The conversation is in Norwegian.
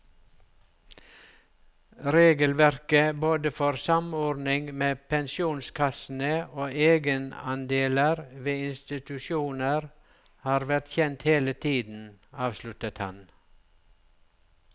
Regelverket både for samordning med pensjonskassene og egenandeler ved institusjoner har vært kjent hele tiden, avsluttet han.